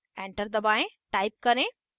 enter दबाएं type करें